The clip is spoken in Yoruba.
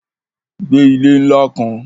Gbẹ́ ilé ńlá kan.